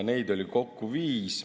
Neid oli kokku viis.